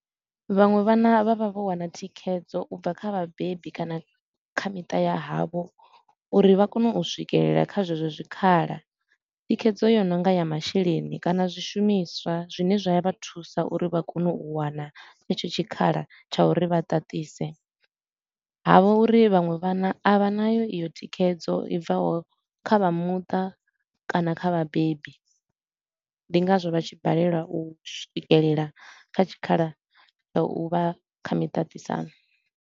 Vhaṅwe vhana vha vha vho wana thikhedzo u bva kha vhabebi kana kha miṱa ya havho, uri vha kone u swikelela kha zwezwo zwikhala. Thikhedzo yo no nga ya masheleni kana zwishumiswa zwine zwa ya vha thusa uri vha kone u wana tshetsho tshikhala tsha uri vha ṱaṱise, ha vha uri vhaṅwe vhana a vha nayo i yo thikhedzo i bvaho kha vha muṱa kana kha vhabebi. Ndi ngazwo vha tshi balelwa u swikelela kha tshikhala tsha u vha kha miṱaṱisano.